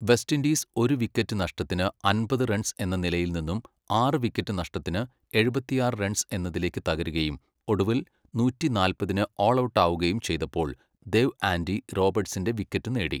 West Indies ഒരു wicket നഷ്ടത്തിന് അമ്പത് റൺസ് എന്ന നിലയിൽനിന്നും ആറ് വിക്കറ്റ് നഷ്ടത്തിന് എഴുപത്തിയാറ് റൺസ് എന്നതിലേക്ക് തകരുകയും ഒടുവിൽ നൂറ്റി നാൽപതിന് ഓൾഔട്ടാവുകയും ചെയ്തപ്പോൾ ദേവ് ആൻഡി റോബർട്സിൻ്റെ വിക്കറ്റ് നേടി.